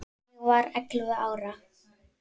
Ég var ellefu ára.